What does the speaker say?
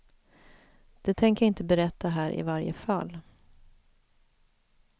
Det tänker jag inte berätta här i varje fall.